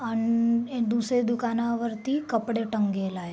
अन एक दुसरे दुकानावरती कपडे टंगेला ये.